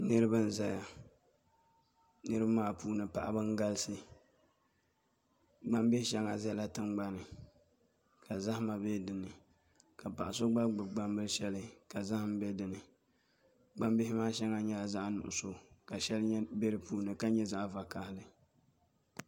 Niraba m ʒɛya niraba maa puuni paɣaba n galisi gbambihi shɛŋa ʒɛla tingbanni ka zahama bɛ dinni ka paɣa so gba gbubi gbambili shɛli ka zaham bɛ dinni gbambihi maa shɛli nyɛla zaɣ nuɣso ka shɛli bɛ di puuni ka nyɛ zaɣ vakaɣali